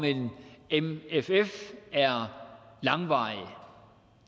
en mff er langvarige